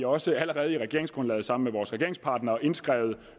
også allerede i regeringsgrundlaget sammen med vores regeringspartnere indskrevet